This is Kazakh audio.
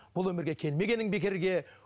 бұл өмірге келмегенің бекерге